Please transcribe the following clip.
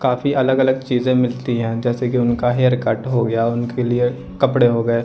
काफी अलग अलग चीजें मिलती हैं जैसे कि उनका हेयरकट हो गया उनके लिए कपड़े हो गये।